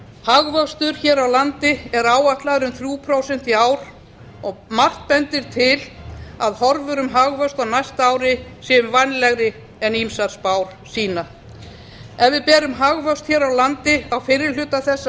hagvöxtur hér á landi er áætlaður um þrjú prósent í ár og margt bendir til að horfur um hagvöxt á næsta ári séu vænlegri en ýmsar spár sýna ef við berum hagvöxt hér á landi á fyrri hluta þessa